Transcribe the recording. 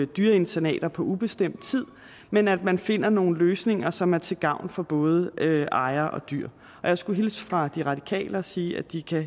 dyreinternater på ubestemt tid men at man også finder nogle løsninger som er til gavn for både ejere og dyr og jeg skulle hilse fra de radikale og sige at de